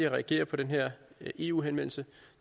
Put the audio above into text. at reagere på den her eu henvendelse